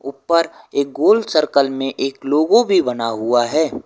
पर एक गोल सर्कल में एक लोगों भी बना हुआ है।